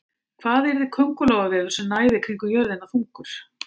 Hvað yrði köngulóarvefur sem næði kringum jörðina þungur?